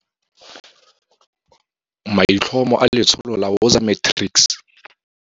MAITLHOMO A LETSHOLO LA WOZA MATRICS.